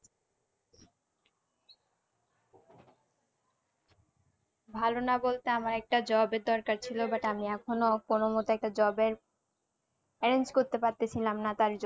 ভালো না বলতে আমার একটা job এর দরকার ছিল but আমি এখনো কোনো মতো একটা job এর arrange করতে পারতে সিলাম না তাই।